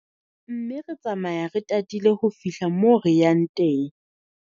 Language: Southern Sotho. Mme re tsamaya re tatile ho fihla moo re yang teng.